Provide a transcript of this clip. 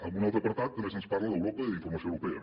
en un altre apartat també se’ns parla d’europa i d’informació europea